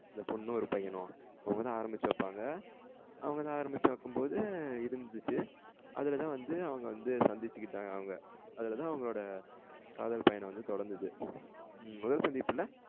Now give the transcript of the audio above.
இந்த பொன்னும் ஒரு பையனும். அவங்கதா ஆரமிச்சி வைப்பாங்க அவங்கதா ஆரமிச்சி வைக்கும் போது அதுலதா வந்து அவங்க வந்து சந்திச்சிகிட்டங்க அவங்க அதுலதான் அவங்களோட காதல் பயணம் வந்து தொடங்குது. முதல் சந்திப்புல